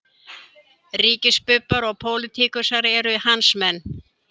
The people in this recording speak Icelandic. Ríkisbubbar og pólitíkusar eru hans menn